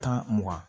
Tan mugan